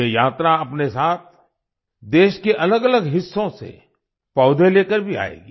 ये यात्रा अपने साथ देश के अलगअलग हिस्सों से पौधे लेकर भी आएगी